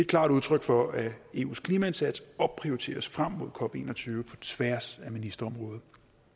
klart udtryk for at eus klimaindsats opprioriteres frem mod cop en og tyve på tværs af ministerområder